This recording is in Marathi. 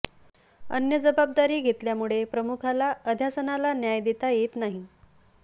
अन्य जबाबदारी घेतल्यामुळे प्रमुखाला अध्यासनाला न्याय देता येत नाही